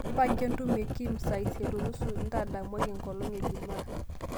mpanga entumo e Kim saa isiet o nusu endamaenkolong e jumaa